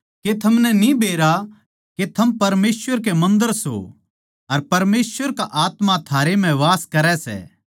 के थमनै न्ही बेरा के थम परमेसवर के मन्दर सो अर परमेसवर की आत्मा थारै म्ह वास करै सै